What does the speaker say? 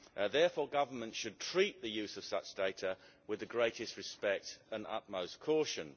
Therefore, governments should treat the use of such data with the greatest respect and utmost caution.